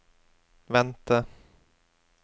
vente